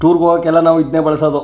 Tour ಹೋಗಕ್ಕೆ ಎಲ್ಲಾ ಇದ್ನೇ ಬಳಸೋದು.